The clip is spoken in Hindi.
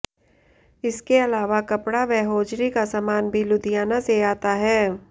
इसके अलावा कपड़ा व हौजरी का सामान भी लुधियाना से आता है